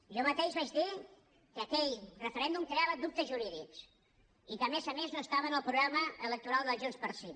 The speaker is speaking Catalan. jo mateix vaig dir que aquell referèndum creava dubtes jurídics i que a més a més no estava en el programa electoral de junts pel sí